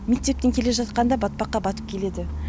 мектептен келе жатқанда батпаққа батып келеді